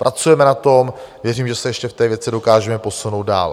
Pracujeme na tom, věřím, že se ještě v té věci dokážeme posunout dál.